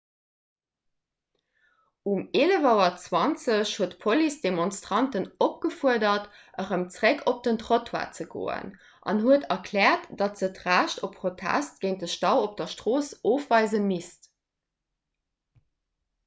um 11.20 auer huet d'police d'demonstranten opgefuerdert erëm zeréck op den trottoir ze goen an huet erkläert datt se d'recht op protest géint de stau op der strooss ofweise misst